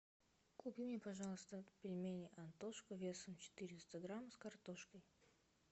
купи мне пожалуйста пельмени антошка весом четыреста грамм с картошкой